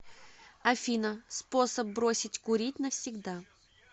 афина способ бросить курить навсегда